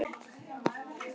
Hæ hér er ég.